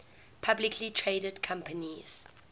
publicly traded companies